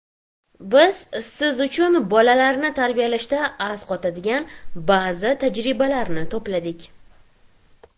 Biz siz uchun bolalarni tarbiyalashda asqotadigan ba’zi tajribalarni to‘pladik.